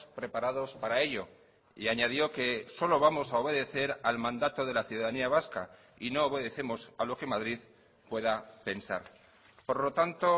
preparados para ello y añadió que solo vamos a obedecer al mandato de la ciudadanía vasca y no obedecemos a lo que madrid pueda pensar por lo tanto